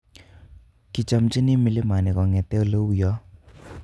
Kichomchini mlimani kongete oleuyo.